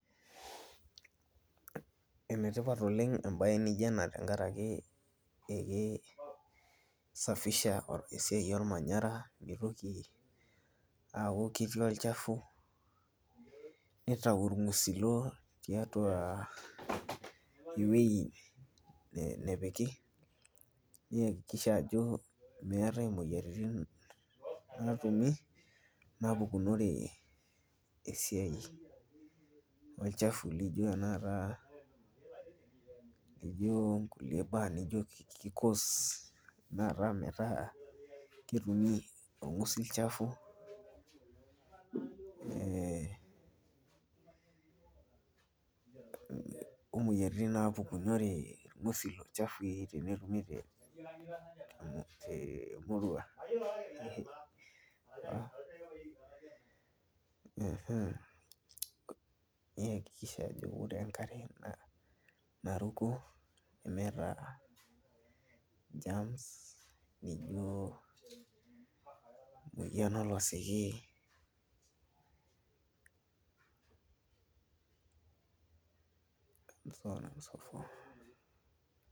enetipat oleng' embaye naa ijio ena tenkaraki ekisafisha ormanyara pee mitoki aaku ketii olchafu nitayu irng'usilo tiatua ewuei nepiki niakikisha ajo meetai imoyiaritin naatumi naapukunore esiai olchafu lijio ele nijio onkulie baa nijio ki cause metaa metaa ketumi orng'usil sapuk ee omoyiaritin naapukunore irng'usilo chafui tenetumi temurua niakikisha ajo ore enkare naruko nemeeta germs nijio.